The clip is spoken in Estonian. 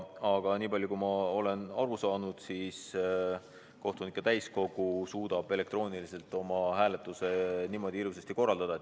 Aga nii palju kui ma olen aru saanud, kohtunike täiskogu suudab elektrooniliselt oma hääletuse ilusasti korraldada.